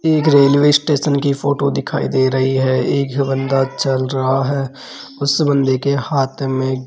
एक railway station की photo दिखाई दे रही है एक बंदा चल रहा है उस बंदे के हाथ में --